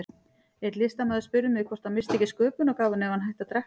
Einn listamaður spurði mig hvort hann missti ekki sköpunargáfuna ef hann hætti að drekka.